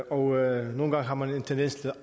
og nogle gange har man en tendens til